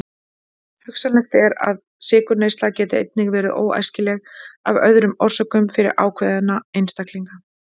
Hugsanlegt er að sykurneysla geti einnig verið óæskileg af öðrum orsökum fyrir ákveðna einstaklinga.